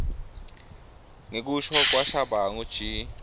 ngekusho kwashabangu g